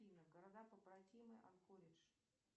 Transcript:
афина города побратимы анкоридж